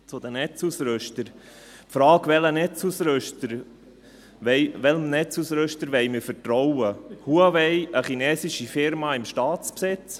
Zu den Netzausrüstern die Frage, welchem Netzausrüster wir vertrauen wollen: Huawei, einer chinesischen Firma im Staatsbesitz?